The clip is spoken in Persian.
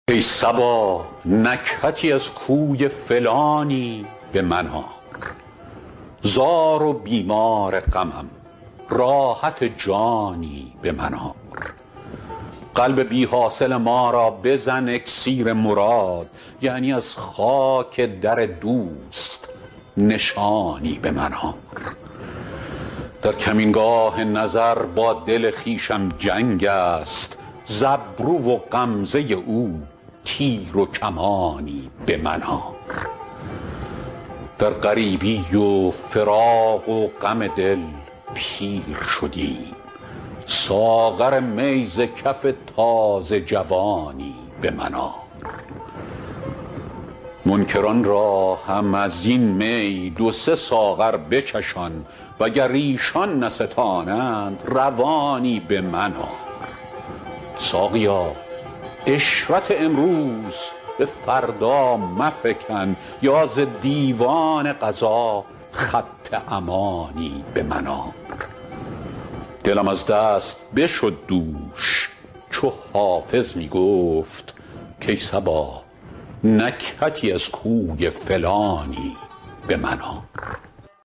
ای صبا نکهتی از کوی فلانی به من آر زار و بیمار غمم راحت جانی به من آر قلب بی حاصل ما را بزن اکسیر مراد یعنی از خاک در دوست نشانی به من آر در کمینگاه نظر با دل خویشم جنگ است ز ابرو و غمزه او تیر و کمانی به من آر در غریبی و فراق و غم دل پیر شدم ساغر می ز کف تازه جوانی به من آر منکران را هم از این می دو سه ساغر بچشان وگر ایشان نستانند روانی به من آر ساقیا عشرت امروز به فردا مفکن یا ز دیوان قضا خط امانی به من آر دلم از دست بشد دوش چو حافظ می گفت کای صبا نکهتی از کوی فلانی به من آر